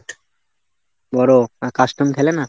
বড়, আর custom খেলে না?